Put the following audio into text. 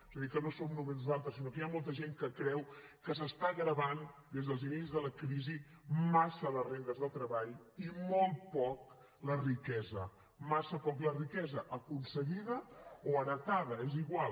és a dir que no som només nosaltres sinó que hi ha molta gent que creu que s’està gravant des dels inicis de la crisi massa les rendes del treball i molt poc la riquesa massa poc la riquesa aconseguida o heretada és igual